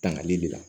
Tangali de la